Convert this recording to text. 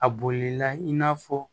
A bolila i n'a fɔ